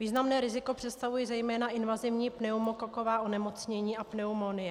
Významné riziko představují zejména invazivní pneumokoková onemocnění a pneumonie.